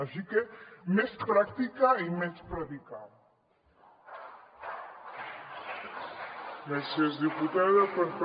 així que més pràctica i menys predicar